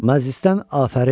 Məclisdən afərin!